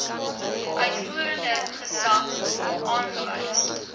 uitvoerende gesag aangewys